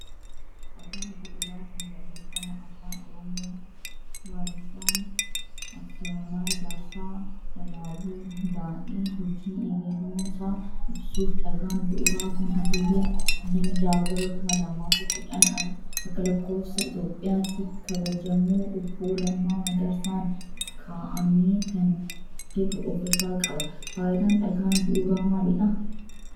Dhagaan bu'uuraa kun barreffama afaan oromoo waldaan aksiyoonaa ijaarsaa walaabuu hunda'ee hojii eegaluusaa ibsuuf dhagaan bu'uuraa kun hagayya 26/2010 ALItti kabajamoo obboo lammaa magarsaan ka'aame kan jedhu of irraa qaba. faayidaan dhagaa bu'uuraa maalidha?